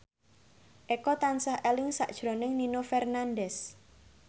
Eko tansah eling sakjroning Nino Fernandez